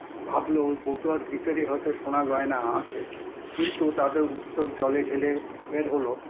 ভাবলো ওই বটুয়ার ভিতরে হয়তো সোনা গয়না আছে, কিন্তু তাদের উৎসুক জলে ঢেলে বের হলো